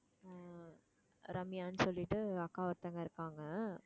ஆஹ் ரம்யான்னு சொல்லிட்டு அக்கா ஒருத்தங்க இருக்காங்க